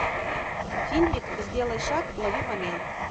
фильмик сделай шаг лови момент